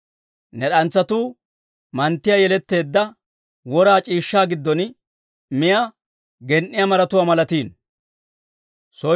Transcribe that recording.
Ne d'antsatuu manttiyaa yeletteedda, wora c'iishshaa giddon miyaa gen"iyaa maratuwaa malatiino.